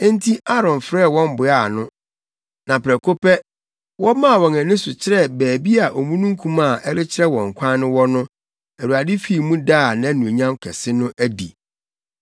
Enti Aaron frɛɛ wɔn boaa ano, na prɛko pɛ, wɔmaa wɔn ani so kyerɛɛ baabi a omununkum a ɛrekyerɛ wɔn kwan no wɔ no, Awurade fii mu daa nʼanuonyam kɛse no adi.